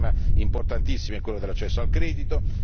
Un altro tema importantissimo è quello dell'accesso al credito.